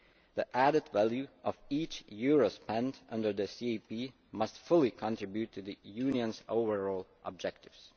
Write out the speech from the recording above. The added value of each euro spent under the CAP must fully contribute to the Union's overall objectives.